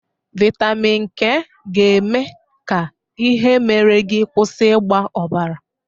Vaịtamin K ga-eme ka ihe mere gị kwụsị ịgba ọbara.